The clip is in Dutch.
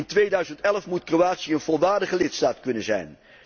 In 2011 moet Kroatië een volwaardige lidstaat kunnen zijn.